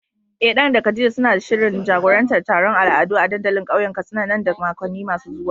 Eh Dan da Khadija suna da shirin jagorantar taron al'adu a dandalin kauyen Katsina nan da makonni masu zuwa